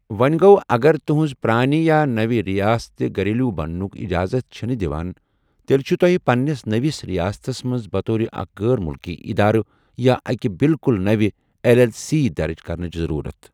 وونۍ گو٘و، اَگر تُہٕنٛز پرٛٲنہِ یا نٔو رِیاست گَریلو بنٛنُک اِجازت چھنہٕ دِوان، تیٚلہِ چُھو تۄہہِ پنٛنِس نٔوِس رِیاستَس منز بطور اَکِھ غٲر مُلکی اِدارٕ یا اَکہِ بِلکُل نَوِ ایٚل ایٚل سی درٕج کرنٕچہِ ضٔروٗرت۔